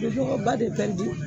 ba de